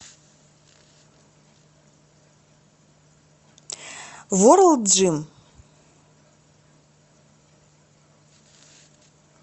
ворлд джим